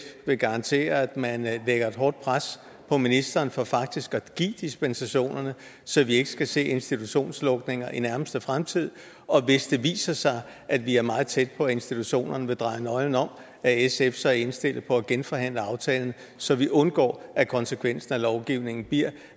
vil garantere at man lægger et hårdt pres på ministeren for faktisk at give dispensationerne så vi ikke skal se institutionslukninger i nærmeste fremtid og hvis det viser sig at vi er meget tæt på at institutionerne vil dreje nøglen om er sf så indstillet på at genforhandle aftalen så vi undgår at konsekvensen af lovgivningen bliver